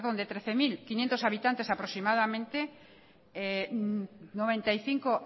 de trece mil quinientos habitantes aproximadamente noventa y cinco